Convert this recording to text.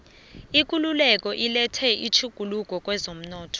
ikululeko ilethe itjhuguluko kezomnotho